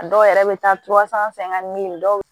A dɔw yɛrɛ bɛ taa fɛ an ka min dɔw